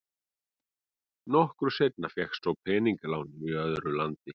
Nokkru seinna fékkst svo peningalán í öðru landi.